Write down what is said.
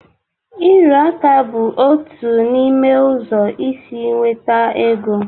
Ịrụ aka bụ otu n'ime ụzọ isi nweta ego.